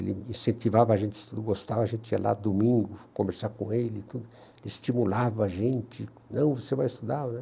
Ele incentivava a gente, gostava, a gente ia lá domingo conversar com ele e tudo, estimulava a gente, ''não, você vai estudar...''